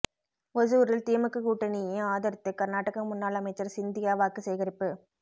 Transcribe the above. ஓசூரில் திமுக கூட்டணியை ஆதரித்து கர்நாடக முன்னாள் அமைச்சர் சிந்தியா வாக்கு சேகரிப்பு